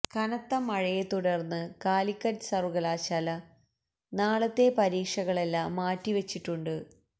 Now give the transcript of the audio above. കനത്ത മഴയെ തുടർന്ന് കാലിക്കറ്റ് സർവകലാശാല നാളത്തെ പരീക്ഷകളെല്ലാം മാറ്റി വച്ചിട്ടുണ്ട്